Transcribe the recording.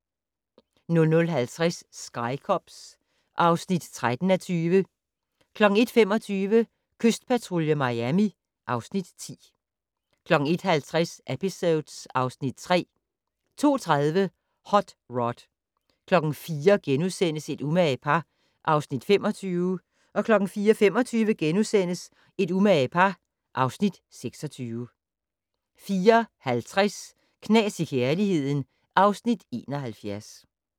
00:50: Sky Cops (13:20) 01:25: Kystpatrulje Miami (Afs. 10) 01:50: Episodes (Afs. 3) 02:30: Hot Rod 04:00: Et umage par (Afs. 25)* 04:25: Et umage par (Afs. 26)* 04:50: Knas i kærligheden (Afs. 71)